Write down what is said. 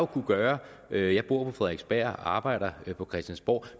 kunne gøre jeg bor på frederiksberg og arbejder på christiansborg